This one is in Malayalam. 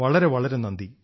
വളരെ വളരെ നന്ദി